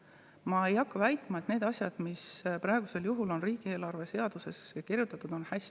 Ma ei hakka väitma, et need asjad, mis praegu riigieelarve seadusesse kirjutatud on, on hästi.